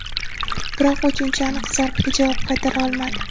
Biroq uchinchi aniq zarbaga javob qaytara olmadi.